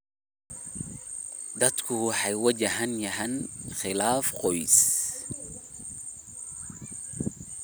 Dadku waxay wajahayaan khilaaf qoys.